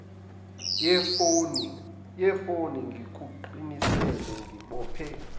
yefoni ngikuqinise ngibophe